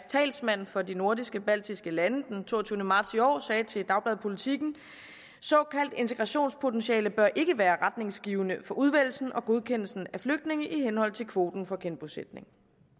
talsmand for de nordisk baltiske lande den toogtyvende marts i år sagde til dagbladet politiken såkaldt integrationspotentiale bør ikke være retningsgivende for udvælgelse og godkendelse af flygtninge i henhold til kvoten for genbosætning